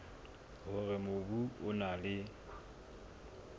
hore mobu o na le